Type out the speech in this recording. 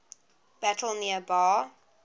battle near bar